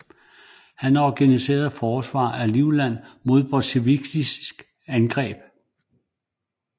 Han organiserede forsvaret af Livland mod bolsjevikiske angreb